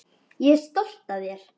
Ég er stolt af þér.